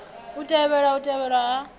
i tevhela u tevhelwa ha